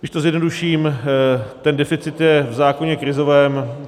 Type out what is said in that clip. Když to zjednoduším, ten deficit je v zákoně krizovém.